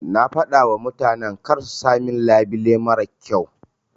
Na fadawa mutanan karsu sa min labile marar kyau.